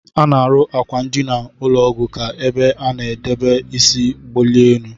Ana arụ akwa ndina ụlọgwu ka ebe ana edebe isi gbalie elu.